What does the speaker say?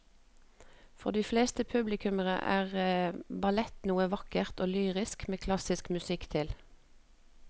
For de fleste publikummere er ballett noe vakkert og lyrisk med klassisk musikk til.